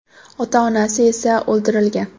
Ota-onasi esa o‘ldirilgan.